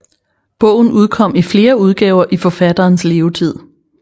Bogen udkom i flere udgaver i forfatterens levetid